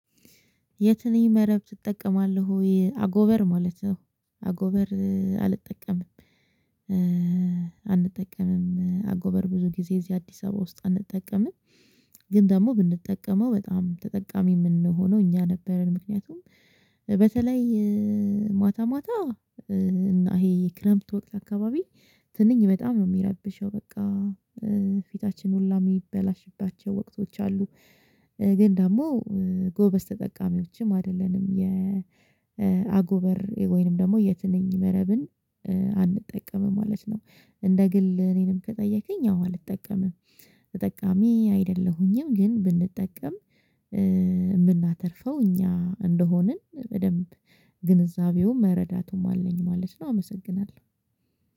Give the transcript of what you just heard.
የትንኝ መረብ ትጠቀማለህ ወይ? አጎበር ማለት ነው አጎበር አልጠቀምም አንጠቀምም አጎበር ብዙ ጊዜ እዚህ አዲስ አበባ ውስጥ አንጠቀምም ግን ደግሞ ብንጠቀመው በጣም ተጠቃሚ የምንሆነው እኛ ነበርን ምክንያቱም በተለይ ማታ ማታ እና ይሄ ክረምት ወቅት አካባቢ ትንኝ በጣም ነው የሚያረብሸው በቃ ሁላ የሚበላሽባቸው ወቅቶች አሉ ግን ደግሞ ጎበዝ ተጠቃሚዎችም አይደለንም የአጎበር ወይንም ደግሞ የትንኝ መረብን አንጠቀምም ማለት ነው እንደ ግል እኔንም ከጠየቀኝ አዎ አልጠቀምም ተጠቃሚ አይደለሁኝም ግን ብንጠቀም የምናተርፈው እኛ እንደሆንን በደንብ ግንዛቤው መረዳቱም አለኝ ማለት ነው አመሰግናለሁ